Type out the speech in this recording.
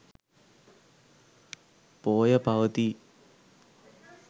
පෝය පවතී.